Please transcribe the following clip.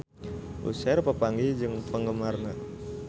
Usher papanggih jeung penggemarna